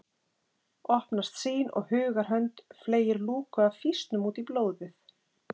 Opnast sýn og hugar hönd fleygir lúku af fýsnum út í blóðið